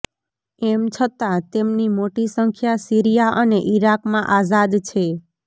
એમ છતાં તેમની મોટી સંખ્યા સીરિયા અને ઇરાકમાં આઝાદ છે